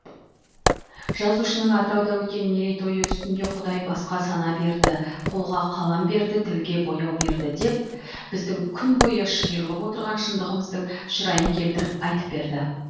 жазушының атырауда өткен мерейтойы үстінде құдай басқа сана берді қолға қалам берді тілге бояу берді деп біздің күнбойы шиырлап отырған шындығымыздың шырайын келтіріп айтып берді